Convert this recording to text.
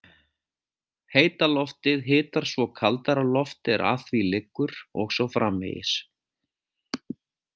Heita loftið hitar svo kaldara loft er að því liggur og svo framvegis.